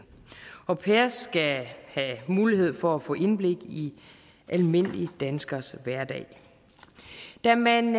au pairer skal have mulighed for at få indblik i almindelige danskeres hverdag da man